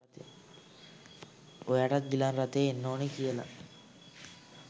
එයාටත් ගිලන් රථයෙ එන්න ඕනෙ කියලා.